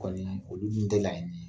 Kɔni olu dun tɛ laɲini ye